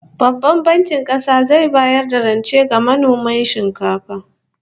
Babban Bankin Kasa zai bayar da rance ga manoman shinkafa